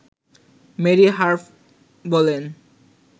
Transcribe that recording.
Mary Harf বলেন